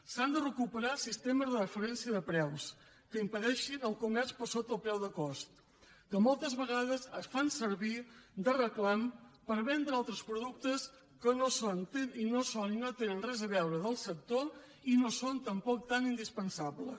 s’han de recuperar els sistemes de preus de referència que impedeixin el comerç per sota del preu de cost que moltes vegades es fan servir de reclam per vendre altres productes que no són i no tenen res a veure amb el sector i no són tampoc tan indispensables